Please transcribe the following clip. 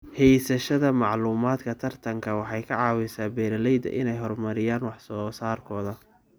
Haysashada macluumaadka tartanka waxay ka caawisaa beeralayda inay horumariyaan wax soo saarkooda.